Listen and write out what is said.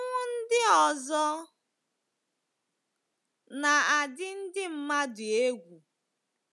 Ọnwụ ndị ọzọ —— na adị ndị mmadụ egwu.